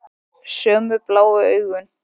Sömu bláu augun.